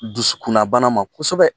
Dusukunna bana ma kosɛbɛ.